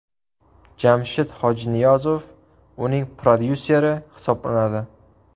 Jamshid Hojiniyozov uning prodyuseri hisoblanadi.